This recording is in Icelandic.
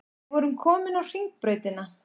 Við vorum komin á Hringbrautina.